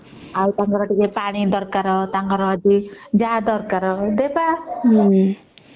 ଆଉ ତାଙ୍କର ପାଣି ଦରକାର ଆଉ ଯାହା ଦରକାର ଦେବା ହୁଁ